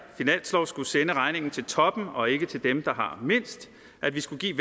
finanslov skulle sende regningen til toppen og ikke til dem der har mindst at vi skulle give